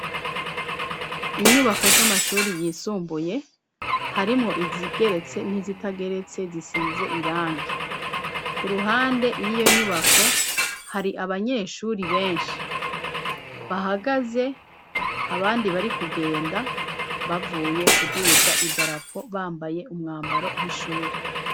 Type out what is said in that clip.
Inyubako z'amashuri yisumbuye harimwo izigeretse n'izitageretse zisize irangi. Ku ruhande y'iyo nyubako hari abanyeshuri benshi bahagaze abandi bari kugenda bavuye kuduza idarapo bambaye umwambaro w'ishuri.